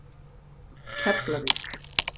Keflavík